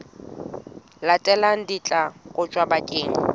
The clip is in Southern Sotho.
latelang di tla kotjwa bakeng